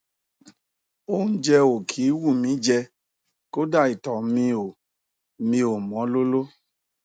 óúnjẹ ò kí ń wù mí í jẹ kódà ìtọ mi ò mi ò mọ lóló